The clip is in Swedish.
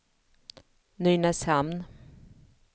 Nynäshamn